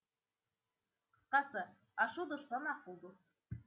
қысқасы ашу дұшпан ақыл дос